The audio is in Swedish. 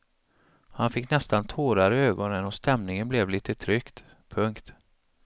Han fick nästan tårar i ögonen och stämningen blev lite tryckt. punkt